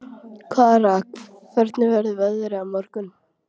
Kara, hvernig verður veðrið á morgun?